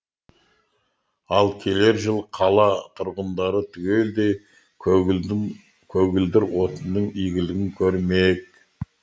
ал келер жыл қала тұрғындары түгелдей көгілдір отынның игілігін көрмек